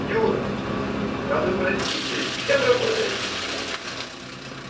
юра а вы простите кем работаете